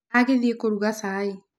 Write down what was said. Agĩthiĩ kũruga cai.